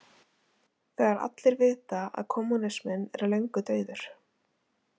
Þegar allir vita að kommúnisminn er löngu dauður.